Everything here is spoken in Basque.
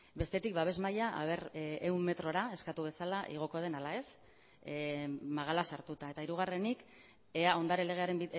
bestetik babes maila ea ehun metrora eskatu bezala igoko den ala ez magala sartuta eta hirugarrenik ea ondare legearen